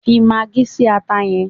Fi magí si ata yẹn!